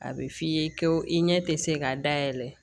A bɛ f'i ye ko i ɲɛ tɛ se ka dayɛlɛ